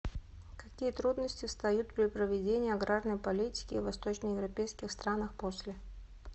какие трудности встают при проведении аграрной политики в восточноевропейских странах после